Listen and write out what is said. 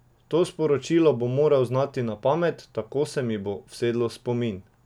To sporočilo bom moral znati na pamet, tako se mi bo usedlo v spomin.